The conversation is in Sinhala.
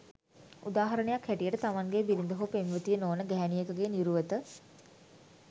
උදාහරණයක් හැටියට තමන්ගේ බිරිඳ හෝ පෙම්වතිය නොවන ගැහැණියකගේ නිරුවත